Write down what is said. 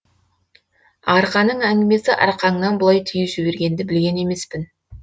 арқаның әңгімесі арқаңнан бұлай түйіп жібергенді білген емеспін